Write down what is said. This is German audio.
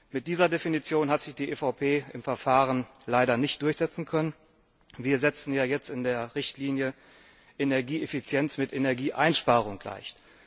Mit dieser Definition hat sich die EVP im Verfahren leider nicht durchsetzen können. Wir setzen jetzt in der Richtlinie Energieeffizienz mit Energieeinsparung gleich.